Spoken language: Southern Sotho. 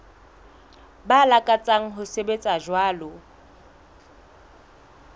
ba lakatsang ho sebetsa jwalo